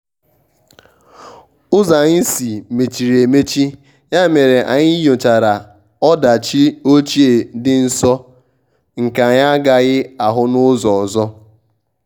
ụzọ anyị si mechiri emechi ya mere anyị nyochara ọdachi ochie dị nso nke anyị agaghị ahụ n`ụzọ ọzọ.